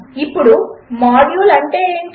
ఇప్పుడు మాడ్యూల్ అంటే ఏమిటి